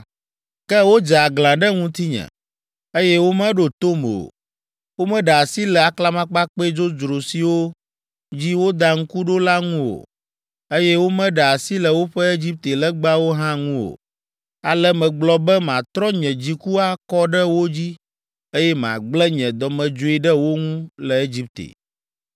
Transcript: “ ‘Ke wodze aglã ɖe ŋutinye, eye womeɖo tom o; womeɖe asi le aklamakpakpɛ dzodzro siwo dzi woda ŋku ɖo la ŋu o, eye womeɖe asi le woƒe Egipte legbawo hã ŋu o. Ale megblɔ be matrɔ nye dziku akɔ ɖe wo dzi eye magblẽ nye dɔmedzoe ɖe wo ŋu le Egipte.